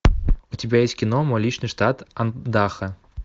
па